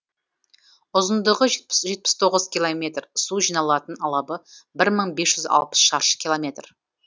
ұзындығы жетпіс тоғыз километр су жиналатын алабы бір мың бес жүз алпыс шаршы километр